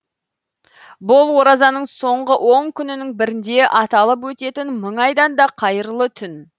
бұл оразаның соңғы он күнінің бірінде аталып өтетін мың айдан да қайырлы түн